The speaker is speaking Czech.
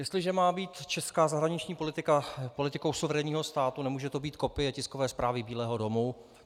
Jestliže má být česká zahraniční politika politikou suverénního státu, nemůže to být kopie tiskové zprávy Bílého domu.